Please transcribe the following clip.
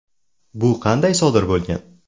Bu qanday sodir bo‘lgan?”.